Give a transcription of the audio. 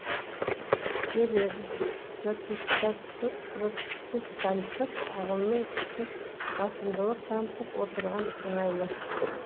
себебі протестанттық ағымның күші басымдылық танытып отырған сыңайлы